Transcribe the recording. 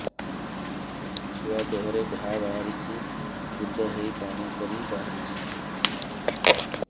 ଛୁଆ ଦେହରେ ଘା ବାହାରିଛି ପୁଜ ହେଇ ପାଣି ପରି ବାହାରୁଚି